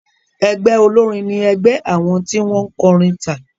Ẹgbẹ́ olórin ní ẹgbé àwọn tí wọ́n kọrin tà.